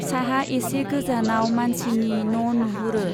साहा एसे गोजानाव मानसिनि न'नुहुरो।